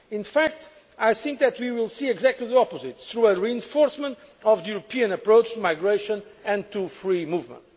In fact, I think that we will see exactly the opposite, through a reinforcement of the European approach to migration and free movement.